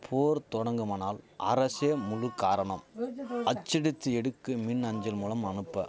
போர் தொடங்குமானால் அரசே முழு காரணம் அச்சடித்து எடுக்கு மின் அஞ்சல் மூலம் அனுப்ப